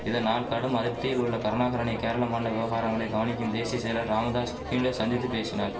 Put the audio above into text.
இதனால் கடும் அதிர்ப்தியில் உள்ள கருணாகரனை கேரள மாநில விவகாரங்களை கவனிக்கும் தேசிய செயலர் ராமதாஸ் ஹிண்டு சந்தித்து பேசினார்